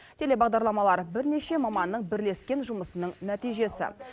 телебағдарламалар бірнеше маманның бірлескен жұмысының нәтижесі